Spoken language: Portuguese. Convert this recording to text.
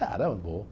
Cara, vou.